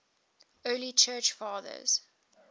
early church fathers